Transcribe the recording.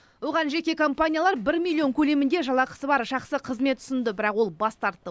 оған жеке компаниялар бір миллион көлемінде жалақысы бар жақсы қызмет ұсынды бірақ ол бас тартты